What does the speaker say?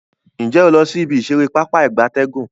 Nje o lo si ibi isere Pápá ìgbatẹ́gùn?